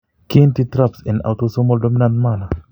Kiinti TRAPS en autosomal dominant manner.